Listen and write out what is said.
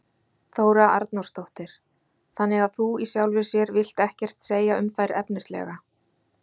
Þóra Arnórsdóttir: Þannig að þú í sjálfu sér vilt ekkert segja um þær efnislega?